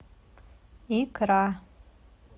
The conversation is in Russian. икра